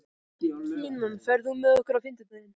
Kinan, ferð þú með okkur á fimmtudaginn?